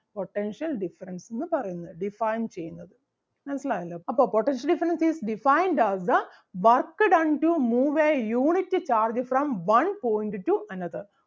potential difference എന്ന് പറയുന്നത് define ചെയ്യുന്നത്. മനസ്സിലായല്ലോ അപ്പൊ potential difference is defined as the work done to move a unit charge from one point to another